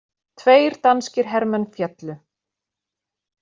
Tveir danskir hermenn féllu